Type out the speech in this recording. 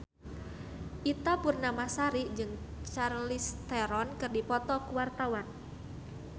Ita Purnamasari jeung Charlize Theron keur dipoto ku wartawan